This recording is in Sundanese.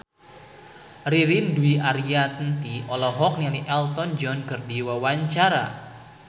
Ririn Dwi Ariyanti olohok ningali Elton John keur diwawancara